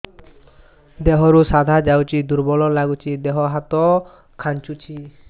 ଦେହରୁ ସାଧା ଯାଉଚି ଦୁର୍ବଳ ଲାଗୁଚି ଦେହ ହାତ ଖାନ୍ଚୁଚି